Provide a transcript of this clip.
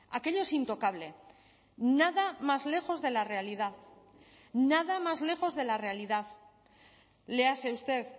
aquello es intocable nada más lejos de la realidad nada más lejos de la realidad léase usted